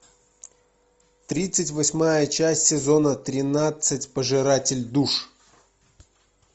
тридцать восьмая часть сезона тринадцать пожиратель душ